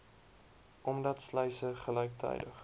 omdat sluise gelyktydig